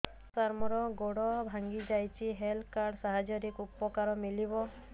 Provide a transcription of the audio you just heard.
ସାର ମୋର ଗୋଡ଼ ଭାଙ୍ଗି ଯାଇଛି ହେଲ୍ଥ କାର୍ଡ ସାହାଯ୍ୟରେ ଉପକାର ମିଳିବ